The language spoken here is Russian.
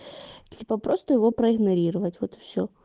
типа просто его проигнорировать вот и всё